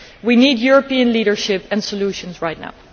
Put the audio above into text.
We need European leadership and solutions right now.